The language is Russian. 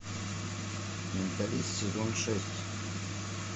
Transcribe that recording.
менталист сезон шесть